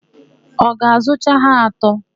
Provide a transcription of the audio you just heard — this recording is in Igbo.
Ị ga-azụcha ha atọ?